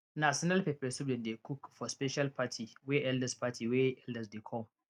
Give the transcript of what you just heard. na snail pepper soup dem dey cook for special party wey elders party wey elders dey come